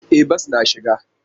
E, bas na shiga.